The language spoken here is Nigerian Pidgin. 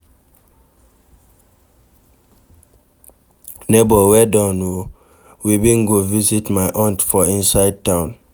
Nebor well done o, we bin go visit my aunty for inside town.